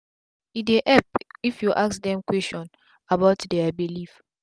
e dey epp if u ask dem question about dia belief